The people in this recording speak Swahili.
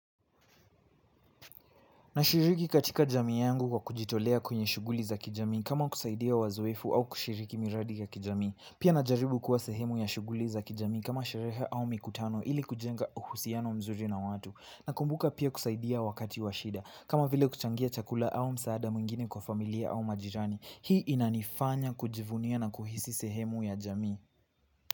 Nashiriki katika jamii yangu kwa kujitolea kwenye shughuli za kijamii kama kusaidia wazoefu au kushiriki miradi ya kijamii. Pia najaribu kuwa sehemu ya shughuli za kijamii kama sherehe au mikutano ili kujenga uhusiano mzuri na watu. Nakumbuka pia kusaidia wakati wa shida kama vile kuchangia chakula au msaada mwingine kwa familia au majirani hii inanifanya kujivunia na kuhisi sehemu ya jamii.